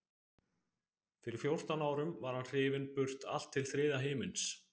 Fyrir fjórtán árum var hann hrifinn burt allt til þriðja himins.